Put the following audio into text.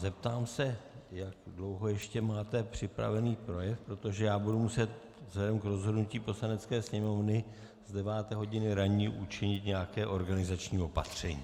Zeptám se, jak dlouho ještě máte připravený projev, protože já budu muset vzhledem k rozhodnutí Poslanecké sněmovny z 9. hodiny ranní učinit nějaké organizační opatření.